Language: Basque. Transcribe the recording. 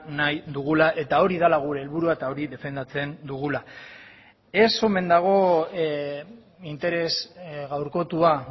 nahi dugula eta hori dela gure helburua eta hori defendatzen dugula ez omen dago interes gaurkotua